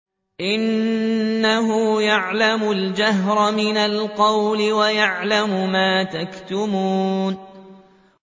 إِنَّهُ يَعْلَمُ الْجَهْرَ مِنَ الْقَوْلِ وَيَعْلَمُ مَا تَكْتُمُونَ